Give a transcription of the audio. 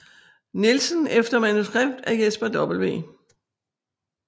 Nielsen efter manuskript af Jesper W